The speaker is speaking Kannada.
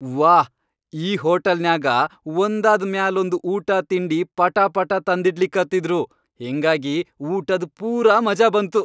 ವಾಹ್, ಈ ಹೋಟಲನ್ಯಾಗ ಒಂದಾದ್ ಮ್ಯಾಲೊಂದ್ ಊಟಾ ತಿಂಡಿ ಪಟಾಪಾಟಾ ತಂದಿಡ್ಲಿಕತ್ತಿದ್ರು, ಹಿಂಗಾಗಿ ಊಟದ್ ಪೂರಾ ಮಜಾ ಬಂತು.